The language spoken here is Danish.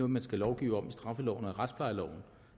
man skal lovgive om i straffeloven og retsplejeloven